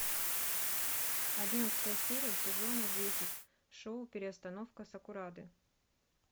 одиннадцатая серия сезона десять шоу переустановка сакурады